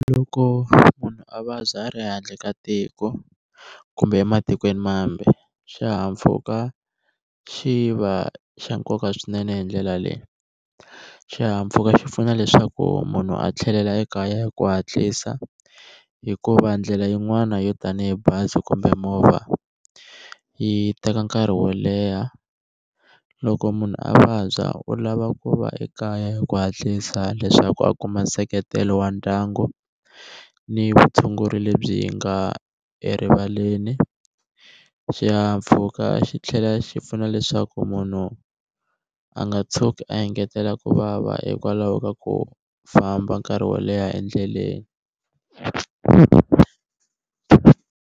Loko munhu a vabya a ri handle ka tiko kumbe ematikweni mambe xihahampfhuka xi va xa nkoka swinene hi ndlela leyi xihahampfhuka xi pfuna leswaku munhu a tlhelela ekaya hi ku hatlisa hikuva ndlela yin'wana yo tanihi bazi kumbe movha yi teka nkarhi wo leha, loko munhu a vabya u lava ku va ekaya hi ku hatlisa leswaku a kuma nseketelo wa ndyangu ni vutshunguri lebyi nga erivaleni, xihahampfhuka xi tlhela xi pfuna leswaku munhu a nga tshuki a engetela kuvava hikwalaho ka ku famba nkarhi wo leha endleleni.